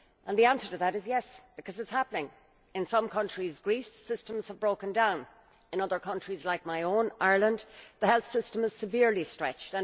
The answer to that is yes', because it is happening. In some countries, such as Greece, systems have broken down. In other countries, like my own Ireland the health system is severely stretched.